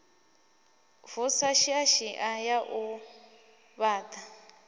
vusa shiashia ya u ṱhavha